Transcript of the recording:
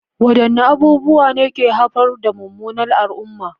Wadanne abubuwa ne ke haifar da munanan al'umma?